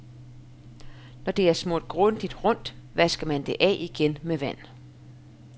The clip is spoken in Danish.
Når det er smurt grundigt rundt, vasker man det af igen med vand.